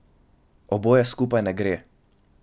Oboje skupaj ne gre.